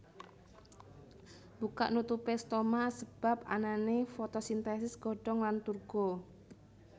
Mbukak nutupé stoma asebab anané fotosintèsis godhong lan turgo